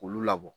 K'olu labɔ